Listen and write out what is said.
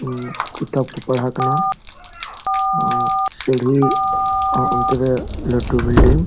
ᱩ ᱠᱤᱛᱟᱵ ᱠᱚ ᱯᱟᱲᱦᱟᱜ ᱠᱟᱱᱟ ᱥᱤᱲᱦᱤ ᱚ ᱚᱱᱛᱮ ᱨᱮ ᱞᱟᱹᱴᱩ ᱵᱤᱞᱰᱤᱝ --